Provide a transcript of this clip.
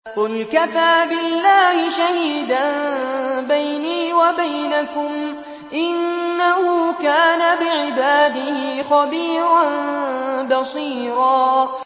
قُلْ كَفَىٰ بِاللَّهِ شَهِيدًا بَيْنِي وَبَيْنَكُمْ ۚ إِنَّهُ كَانَ بِعِبَادِهِ خَبِيرًا بَصِيرًا